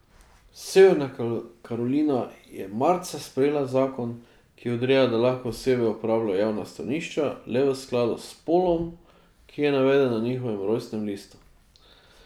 Severna Karolina je marca sprejela zakon, ki odreja, da lahko osebe uporabljajo javna stranišča le v skladu s spolom, ki je naveden na njihovem rojstnem listu.